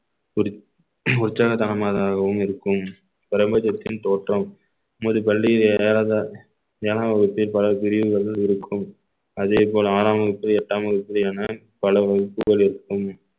உற்ச்~ உற்சாகத்தனமாகவும் இருக்கும் பிரபஞ்சத்தின் தோற்றம் உமது பள்ளி ஏற~ ஏழாம் வகுப்பில் பல பிரிவுகள் இருக்கும் அதே போல் ஆறாம் வகுப்பு எட்டாம் வகுப்பிலான பல வகுப்புகள் இருக்கும்